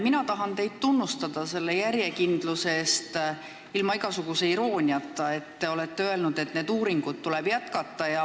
Mina tahan teid ilma igasuguse irooniata tunnustada järjekindluse eest, et te olete öelnud, et neid uuringuid tuleb jätkata.